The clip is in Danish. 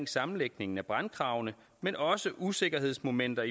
sammenlægningen af brandkravene men også usikkerhedsmomenter